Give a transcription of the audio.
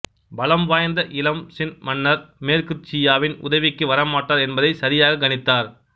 பலம் வாய்ந்த இளம் சின் மன்னர் மேற்கு சியாவின் உதவிக்கு வரமாட்டார் என்பதைச் சரியாகக் கணித்தார்